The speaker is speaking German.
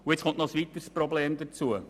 Nun kommt noch ein weiteres Problem hinzu: